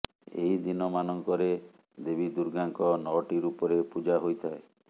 ଏହି ଦିନମାନଙ୍କରେ ଦେବୀ ଦୁର୍ଗାଙ୍କ ନଅଟି ରୂପରେ ପୂଜା ହୋଇଥାଏ